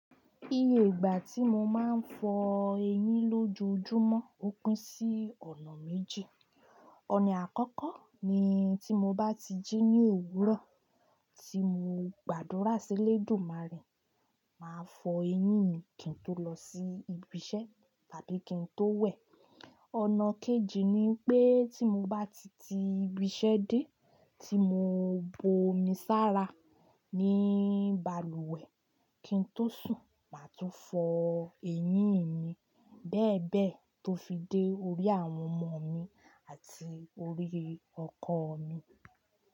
Iye ìgbà tí mo máa ń fọ eyín lójoojúmọ́ ó pín sí ọ̀nà méjì. Ọ̀nà àkọ́kọ́ ni tí mo bá ti jí ní òwúrọ̀ tí mo gbàdúrà sí Elédùmarè màá fọ eyín mi kí n tó lọ sí ibi iṣẹ́ tàbí kí n tó wẹ̀. Ọ̀nà kejì ni pé tí mo bá ti ti ibi iṣẹ́ dé tí mo bu omi sára ní balùwẹ̀ kí n tó sùn, màá tún fọ eyín mi bẹ́ẹ̀ bẹ́ẹ̀ tó fi dé orí àwọn ọmọ mi àti orí ọkọ mi.